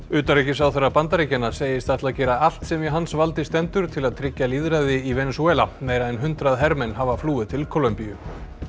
utanríkisráðherra Bandaríkjanna segist ætla að gera allt sem í hans valdi stendur til að tryggja lýðræði í Venesúela meira en hundrað hermenn hafa flúið til Kólumbíu